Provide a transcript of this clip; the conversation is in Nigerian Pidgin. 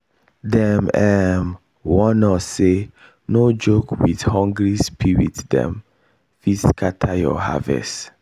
dem um warn us say no joke with hungry spiritsdem fit scatter your harvest.